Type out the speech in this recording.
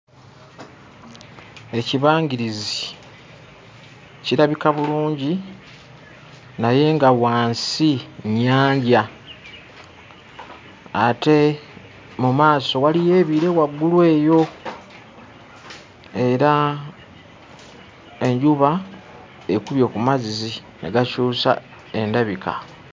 Ekibangirizi kirabika bulungi naye nga wansi nnyanja ate mu maaso waliyo ebire waggulu eyo era enjuba ekubye ku mazzi ne gakyusa endabika.